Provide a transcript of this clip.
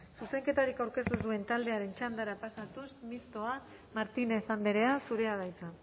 zuzenketarik aurkeztu ez duen taldearen txandara pasatuz mistoa martínez andrea zurea da hitza